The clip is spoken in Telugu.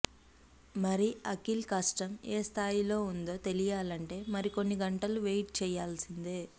మరి అఖిల్ కష్టం ఏ స్థాయిలో ఉందొ తెలియాలంటే మరికొన్ని గంటలు వెయిట్ చేయాల్సిందే